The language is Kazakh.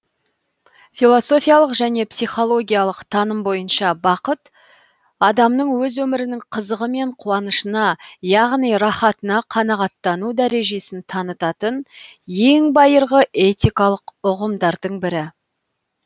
философиялық және психологиялық таным бойынша бақыт адамның өз өмірінің қызығы мен қуанышына яғни рахатына қанағаттану дәрежесін танытатын ең байырғы этикалық ұғымдардың бірі